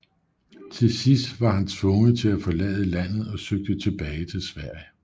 Til sidst var han tvunget til at forlade landet og søgte tilbage til Sverige